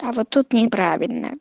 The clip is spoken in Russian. а вот тут неправильно